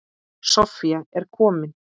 Soffía er komin.